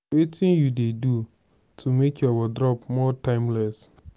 wetin you dey do to make your wardrobe more timeless?